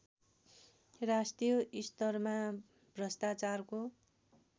राष्ट्रिय स्तरमा भ्रष्टाचारको